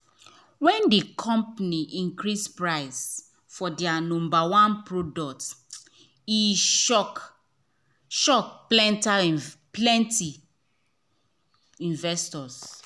when the company increase price for their number one product e shock shock plenty investors.